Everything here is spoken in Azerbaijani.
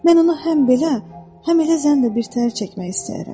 Mən onu həm belə, həm elə zən də birtəhər çəkmək istəyərəm.